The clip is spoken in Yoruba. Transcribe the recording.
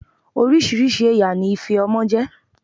Oríṣiríṣi ẹ̀yà ni ife ọmọ jẹ́.